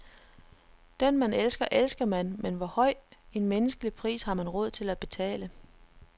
Den man elsker, elsker man, men hvor høj en menneskelig pris har man råd til at betale.